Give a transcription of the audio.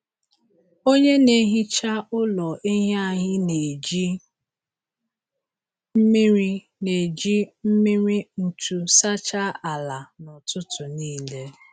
Onye na-ehicha ụlọ ehi anyị na-eji mmiri na-eji mmiri ntu sachaa ala na ụtụtụ nile.